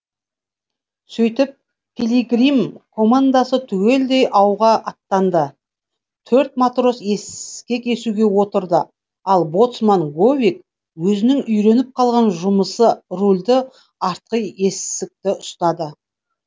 сөйтіп пилигрим командасы түгелдей ауға аттанды төрт матрос ескек есуге отырды ал боцман говик өзінің үйреніп қалған жұмысы рульді артқы есікті ұстады